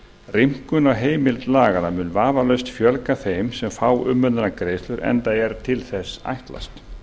rýmkun á heimild laganna mun vafalaust fjölga þeim sem fá umönnunargreiðslur enda er til þess ætlast